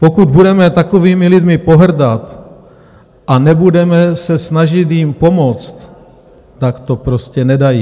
Pokud budeme takovými lidmi pohrdat a nebudeme se snažit jim pomoct, tak to prostě nedají.